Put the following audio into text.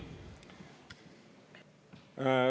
Teie aeg!